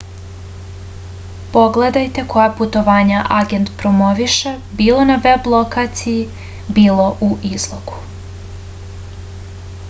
pogledajte koja putovanja agent promoviše bilo na veb lokaciji bilo u izlogu